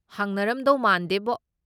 ꯍꯥꯡꯅꯔꯝꯗꯧ ꯃꯥꯟꯗꯦꯕꯣ꯫